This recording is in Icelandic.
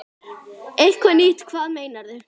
Eitthvað nýtt, hvað meinarðu?